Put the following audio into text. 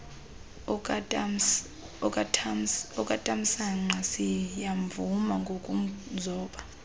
okatamsanqa siyamvuma ngokumzoba